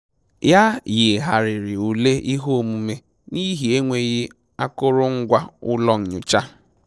Ya yigharịrị ule ihe omume n'ihi enweghị akụrụngwa ụlọ nyocha